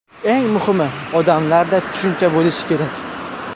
Eng muhimi odamlarda tushuncha bo‘lishi kerak.